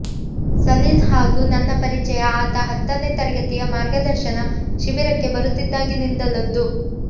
ಸಲೀಲ್ ಹಾಗೂ ನನ್ನ ಪರಿಚಯ ಆತ ಹತ್ತನೆ ತರಗತಿಯ ಮಾರ್ಗದರ್ಶನ ಶಿಬಿರಕ್ಕೆ ಬರುತ್ತಿದ್ದಾಗಿನಿಂದಲದ್ದು